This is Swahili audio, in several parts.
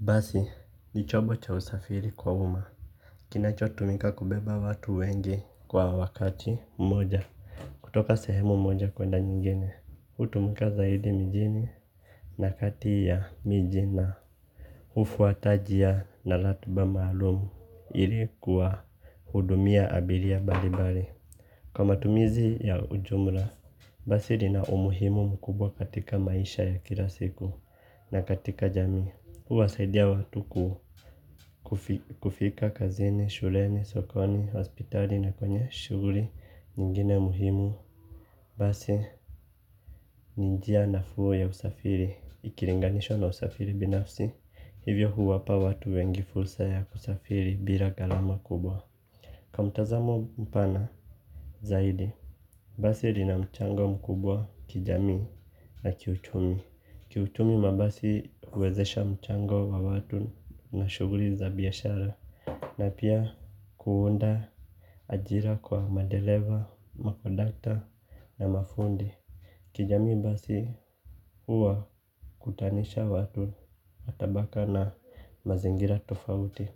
Basi, ni chombo cha usafiri kwa umma. Kinachotumika kubeba watu wengi kwa wakati mmoja kutoka sehemu mmoja kwenda nyingine hutumika zaidi mijini na kati ya miji na hufuata njia na ratiba maalumu ili kuwahudumia abiria mbali mbali kwa matumizi ya jumla. Basi lina umuhimu mkubwa katika maisha ya kila siku na katika jamii. Huwasaidia watu kufika kazini, shuleni, sokoni, hospitalini na kwenye shughuli nyingine muhimu. Basi ni njia nafuu ya usafiri ikilinganishwa na usafiri binafsi. Hivyo huwapa watu wengi fursa ya kusafiri bila gharama kubwa. Kwa mtazamo mpana zaidi, basi lina mchango mkubwa kijamii na kiuchumi. Kiuchumi, mabasi huwezesha mchango wa watu na shughuli za biashara. Na pia kuunda ajira kwa madereva, makondakta na mafundi. Kijamii, basi huwakutanisha watu wa matabaka na mazingira tofauti.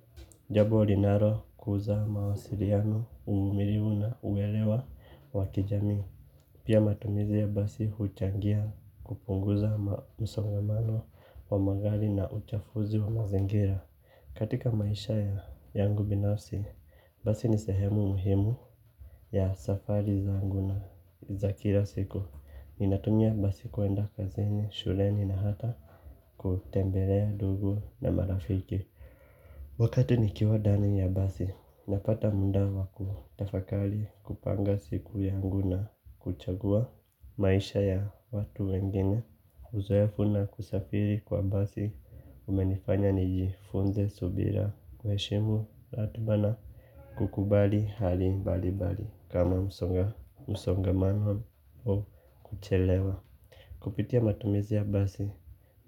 Jambo linalokuza mawasiliano, mshikamano, uvumilivu na uelewa wa kijamii. Pia matumizi ya basi huchangia kupunguza msongamano wa magari na uchafuzi wa mazingira. Katika maisha yangu binafsi, basi ni sehemu muhimu ya safari zangu za kila siku. Ninatumia basi kwenda kazini, shuleni na hata kutembelea ndugu na marafiki. Wakati nikiwa ndani ya basi, napata muda wa kutafakari, kupanga siku yangu na kuchagua maisha ya watu wengine. Uzoefu wa kusafiri kwa basi umenifanya nijifunze subira. Kuheshimu ratiba na kukubali hali mbalimbali kama msongamano au kuchelewa. Kupitia matumizi ya basi,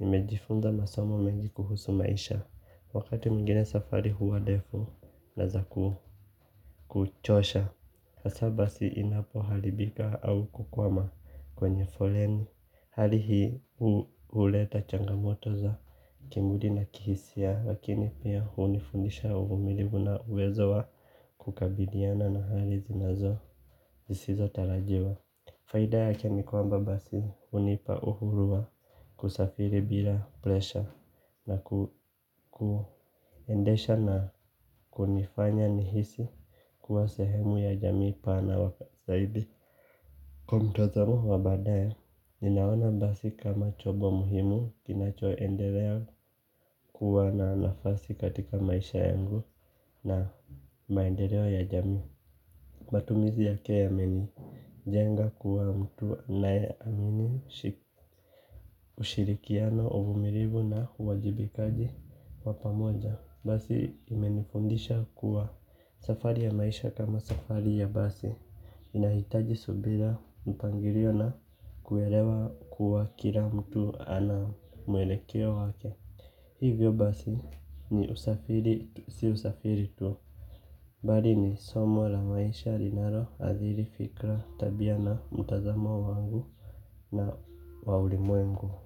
nimejifunza masomo mengi kuhusu maisha. Wakati mwingine safari huwa ndefu na za kuchosha. Hasa basi inapoharibika au kukwama kwenye foleni. Hali hii huleta changamoto za kimwili na kihisia. Lakini pia hunifundisha uvumilivu na uwezo wa kukabiliana na hali zisizotarajiwa. Faida yake ni kwamba basi hunipa uhuru wa kusafiri bila presha ya kuendesha, na kunifanya nihisi kuwa sehemu ya jamii pana ya wasafiri. Kwa wa baadaye, ninaona basi kama chombo muhimu kinachoendelea kuwa na nafasi katika maisha yangu na maendeleo ya jamii. Matumizi yake yameni jenga kuwa mtu anayeamini ushirikiano, uvumilivu na uwajibikaji wa pamoja, basi imenifundisha kuwa safari ya maisha ni kama safari ya basi. Inahitaji subira, mpangilio na kuelewa kuwa kila mtu ana mwelekeo wake. Hivyo basi ni usafiri, si usafiri tu bali ni somo la maisha linaloathiri fikra, tabia na mtazamo wangu na wa ulimwengu mzima.